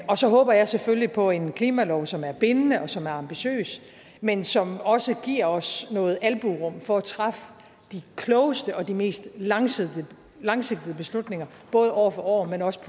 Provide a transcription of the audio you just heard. og så håber jeg selvfølgelig på en klimalov som er bindende og som er ambitiøs men som også giver os noget albuerum for at træffe de klogeste og de mest langsigtede langsigtede beslutninger både år for år men også